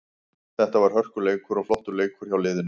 Þetta var hörkuleikur og flottur leikur hjá liðinu.